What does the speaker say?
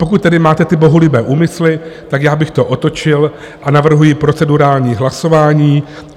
Pokud tedy máte ty bohulibé úmysly, tak já bych to otočil a navrhuji procedurální hlasování.